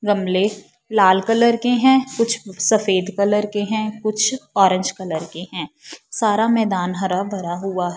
गमले लाल कलर के हैं कुछ सफेद कलर के हैं कुछ ऑरेंज कलर के हैं सारा मैदान हरा भरा हुआ --